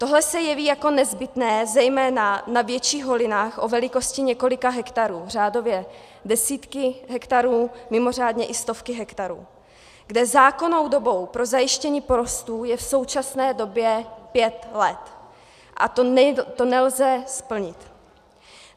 Tohle se jeví jako nezbytné zejména na větších holinách o velikosti několika hektarů, řádově desítky hektarů, mimořádně i stovky hektarů, kde zákonnou dobou pro zajištění porostů je v současné době pět let, a to nelze splnit.